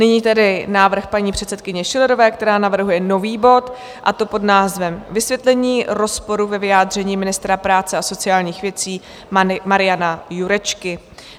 Nyní tedy návrh paní předsedkyně Schillerové, která navrhuje nový bod, a to pod názvem Vysvětlení rozporu ve vyjádření ministra práce a sociálních věcí Mariana Jurečky.